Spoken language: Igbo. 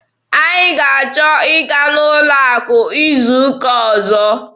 Anyị ga-achọ ịga n'ụlọ akụ izu ụka ọzọ.